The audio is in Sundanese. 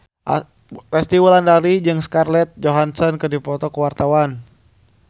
Resty Wulandari jeung Scarlett Johansson keur dipoto ku wartawan